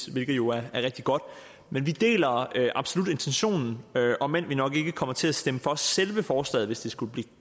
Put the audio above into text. hvilket jo er rigtig godt men vi deler absolut intentionen om end vi nok ikke kommer til at stemme for selve forslaget hvis det skulle blive